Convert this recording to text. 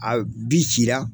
A cila